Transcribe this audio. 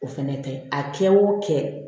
O fɛnɛ tɛ a kɛ o kɛ